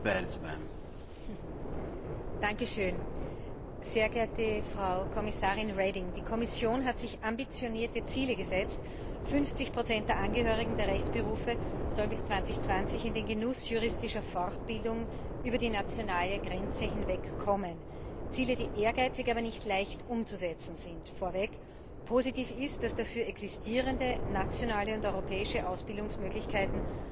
Frau Präsidentin, sehr geehrte Frau Kommissarin Reding! Die Kommission hat sich ambitionierte Ziele gesetzt. 50 der Angehörigen der Rechtsberufe sollen bis 2020 in den Genuss juristischer Fortbildung über die nationalen Grenzen hinweg kommen Ziele, die ehrgeizig, aber nicht leicht umzusetzen sind. Positiv ist, dass dafür existierende nationale und europäische Ausbildungsmöglichkeiten